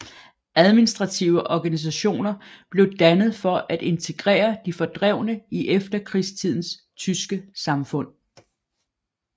Administrative organisationer blev dannet for at integrere de fordrevne i efterkrigstidens tyske samfund